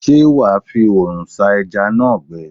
Ṣé wà á fi oòrùn sá ẹja náà gbẹ?